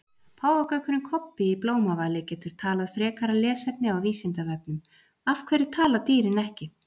Páfagaukurinn Kobbi í Blómavali getur talað Frekara lesefni á Vísindavefnum: Af hverju tala dýrin ekki?